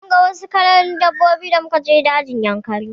Mun ga wasu kalan dabbobi da muka je dajin Yankari.